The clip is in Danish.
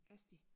Asti